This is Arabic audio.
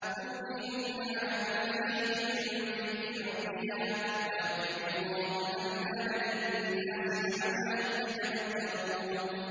تُؤْتِي أُكُلَهَا كُلَّ حِينٍ بِإِذْنِ رَبِّهَا ۗ وَيَضْرِبُ اللَّهُ الْأَمْثَالَ لِلنَّاسِ لَعَلَّهُمْ يَتَذَكَّرُونَ